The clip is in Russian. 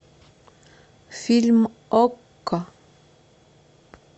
фильм окко